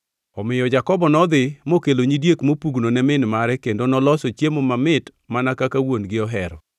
Omiyo Jakobo nodhi mokelo nyidiek mopugno ne min mare kendo noloso chiemo mamit mana kaka wuon-gi ohero.